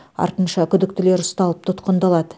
артынша күдіктілер ұсталып тұтқындалады